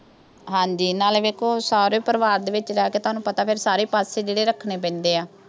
ਹਾਂਜੀ। ਨਾਲੇ ਸਹੁਰੇ ਪਰਿਵਾਰ ਦੇ ਵਿੱਚ ਰਹਿ ਕੇ ਤੁਹਾਨੂੰ ਪਤਾ ਫਿਰ ਸਾਰੇ ਪਾਸੇ ਜਿਹੜੇ ਰੱਖਣੇ ਪੈਂਦੇ ਆ।